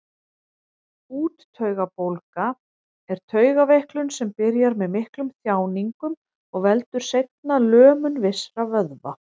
Úttaugabólga er taugaveiklun sem byrjar með miklum þjáningum og veldur seinna lömun vissra vöðva.